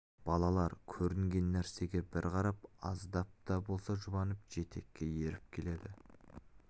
балалар көрінген нәрсеге бір қарап аздап та болса жұбанып жетекке еріп келеді